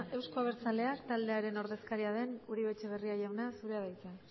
euzko abertzaleak taldearen ordezkaria den uribe etxebarria jauna zurea da hitza